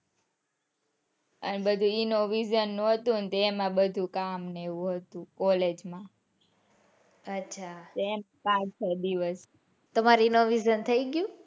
અને એ બધું visa નું ને એમાં બધું કામ ને એવું હતું college માં અચ્છા એમ આખો દિવસ તમારે એના visa નું થઇ ગયું?